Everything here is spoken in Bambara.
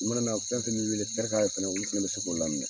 O mana na fɛn fɛn min wele tɛrika ye fana olu bɛ se k'o laminɛ